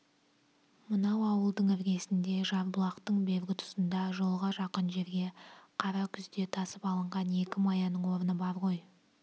мынау ауылдың іргесінде жарбұлақтың бергі тұсында жолға жақын жерге қара күзде тасып алынған екі маяның орны бар ғой